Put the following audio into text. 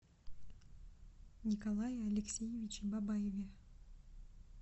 николае алексеевиче бабаеве